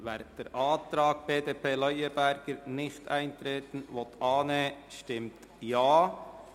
Wer den Antrag BDP Leuenberger auf Nichteintreten annehmen will, stimmt Ja,